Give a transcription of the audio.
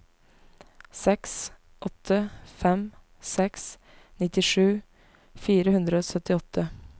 seks åtte fem seks nittisju fire hundre og syttiåtte